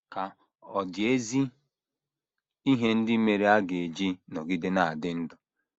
Ka ọ̀ dị ezi ihe ndị mere a ga - eji nọgide na - adị ndụ?